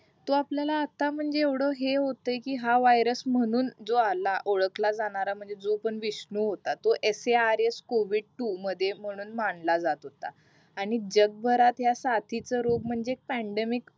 तो आपल्याला आता म्हणजे एव्हडं हे होताय कि हा वायर्स म्हणून जो आला ओळखला जाणारा म्हणजे जो पण विष्णू होत S A R S covid two मध्ये म्हणून मानला जात होता आणि जगभरात ह्या साथीच रोग म्हणजे पँडेमिक